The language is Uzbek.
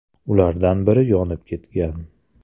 Ulardan biri yonib ketgan.